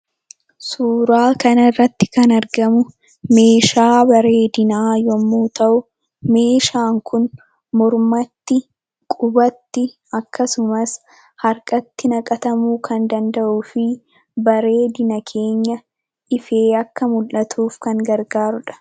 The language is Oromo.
Suuraa kanarratti kan argamu meeshaa bareedinaa yommuu ta'u meeshaan kun mormatti, qubatti akkasumas harkatti naqatamuu kan danda'uu fi bareedina keenya ifee akka mullatuuf kan gargaarudha.